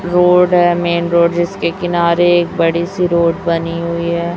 Road है main road जिसके किनारे एक बड़ी सी रोड बनी हुई है।